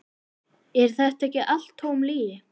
Er þetta ekki allt tóm lygi?